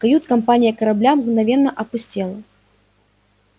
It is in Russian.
кают-компания корабля мгновенно опустела